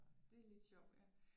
Det er lidt sjovt ja